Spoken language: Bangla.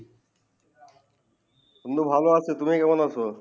তোমরা ভালো আছো তুমি কেমন আছো